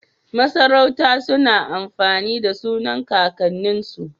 Masarauta suna amfani da sunan kakan nin su